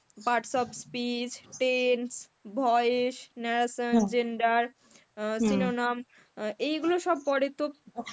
parts of speech, tense, voice, narration, gender synonym, এগুলো সব পরে তো